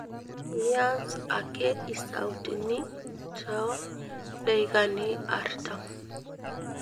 miasa ake isautini to deikani artam